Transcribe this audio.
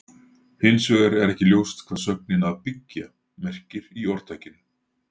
Hins vegar er ekki ljóst hvað sögnin að byggja merkir í orðtakinu.